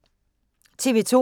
TV 2